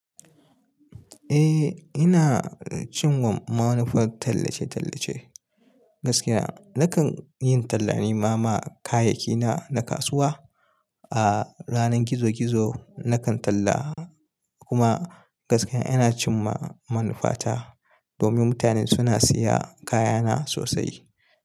Eh, ina cin ma manufar tallace-tallace. Gaskiya, nakan yi tallane ma, ma kayayyakina na kasuwa. A ranar gizo-gizo nakan talla kuma gaskiya ina cin ma manufata domin mutane suna siyan kayana sosai.